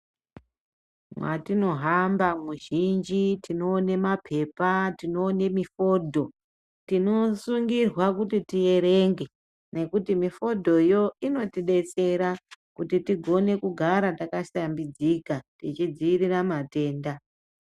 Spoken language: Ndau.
Mwatinohamba muzhinji tinoone mapepa tinoone mifodho tinosungirwa kuti tierenge nekuti mifodho yoo inotibetsera kuti tigare takahlambidzika tichidziirira matenda.